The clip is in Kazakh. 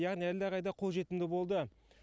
яғни әлдеқайда қолжетімді болды